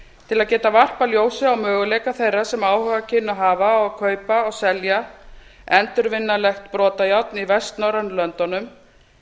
til að geta varpað ljósi á möguleika þeirra sem áhuga kynnu að hafa á að kaupa og selja endurvinnanlegt brotajárn í vestnorrænu löndunum